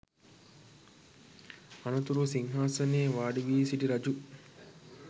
අනතුරුව සිංහාසනයේ වාඩිවී සිටි රජු